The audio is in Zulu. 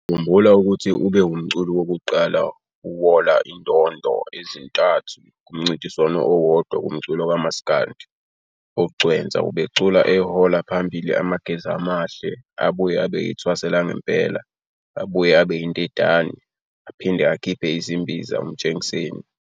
Sizokhumbula ukuthi ube wumculi wokuqala uwola indodo ezintathi kumncintiswano owodwa kumculo kamaskandi. Ugcwensa ubecula ehola phambili amageza amahle abuye abe ithwasa langempela abuye aba indidane aphinde akhiphe ezimbiza Umtshengiseni.